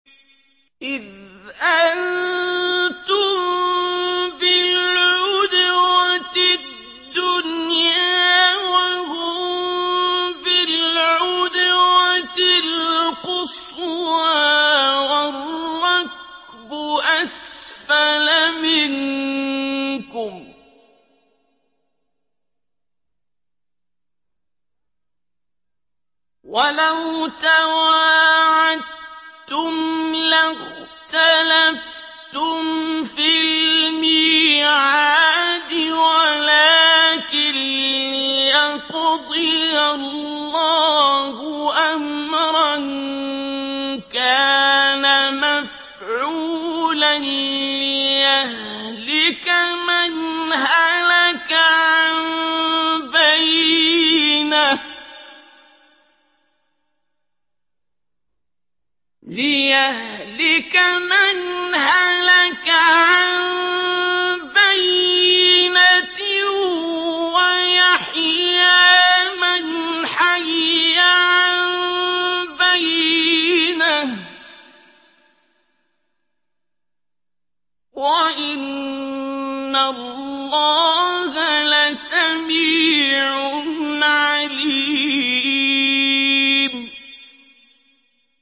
إِذْ أَنتُم بِالْعُدْوَةِ الدُّنْيَا وَهُم بِالْعُدْوَةِ الْقُصْوَىٰ وَالرَّكْبُ أَسْفَلَ مِنكُمْ ۚ وَلَوْ تَوَاعَدتُّمْ لَاخْتَلَفْتُمْ فِي الْمِيعَادِ ۙ وَلَٰكِن لِّيَقْضِيَ اللَّهُ أَمْرًا كَانَ مَفْعُولًا لِّيَهْلِكَ مَنْ هَلَكَ عَن بَيِّنَةٍ وَيَحْيَىٰ مَنْ حَيَّ عَن بَيِّنَةٍ ۗ وَإِنَّ اللَّهَ لَسَمِيعٌ عَلِيمٌ